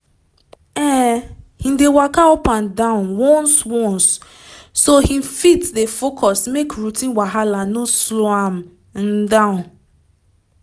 um him dey walka up and down once once so him fit dey focus make routine wahala no slow am um down